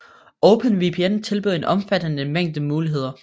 OpenVPN tilbyder en omfattende mængde muligheder